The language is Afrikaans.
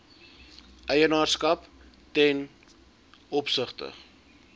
eienaarskap ten opsigte